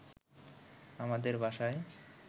আমাদের বাসায়